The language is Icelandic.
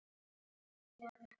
Báðar standa enn.